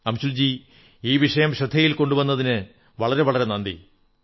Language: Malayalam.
അംശുൽ ജീ ഈ വിഷയം ശ്രദ്ധയിൽ കൊണ്ടുവന്നതിന് നന്ദി